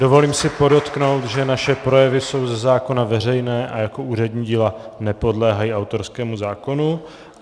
Dovolím si podotknout, že naše projevy jsou ze zákona veřejné a jako úřední díla nepodléhají autorskému zákonu.